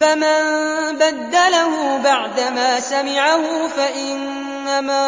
فَمَن بَدَّلَهُ بَعْدَمَا سَمِعَهُ فَإِنَّمَا